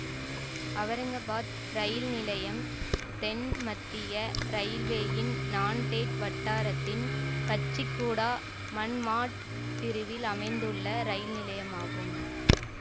அவுரங்காபாத் இரயில் நிலையம் தென் மத்திய இரயில்வேயின் நாண்டேட் வட்டாரத்தின் கச்சிகூடாமன்மாட் பிரிவில் அமைந்துள்ள இரயில் நிலையமாகும்